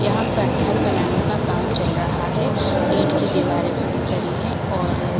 यहाँ पर घर बनाने का काम चल रहा है ईंट की दीवारें खड़ी करी है और --